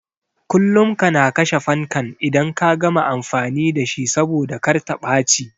Kullum kana kashe fankan idan ka gama amfani da shi saboda kar ta ɓaci